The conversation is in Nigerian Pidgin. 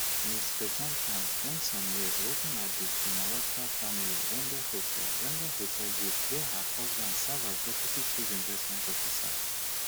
ms paetongtarn spend some years working at di shinawatra family rende hotel rende hotel group where her husband serve as deputy chief investment officer